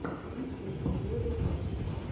ютуб легоферст